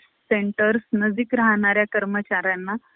center नजीक राहणाऱ्या कर्मचाऱ्यांना ,